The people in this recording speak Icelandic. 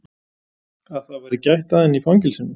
Að það væri gætt að henni í fangelsinu?